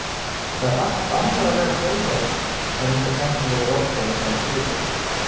Það er allt annað að vera þjálfari en einhver tæknilegur ráðgjafi, sagði Sigurbjörn.